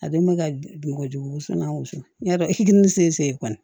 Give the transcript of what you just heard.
A dun bɛ ka bɔgɔ jogo wusu n'a wusu n'a dɔki ni sen se kɔni